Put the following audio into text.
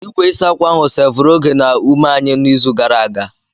Igwe ịsa ákwà ahụ seevuru oge na ume anyị n'izu gara aga.